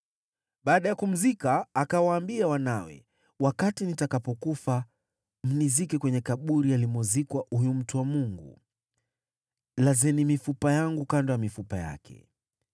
Baada ya kumzika, akawaambia wanawe, “Wakati nitakapokufa, mnizike kwenye kaburi alimozikwa huyu mtu wa Mungu; lazeni mifupa yangu kando ya mifupa yake.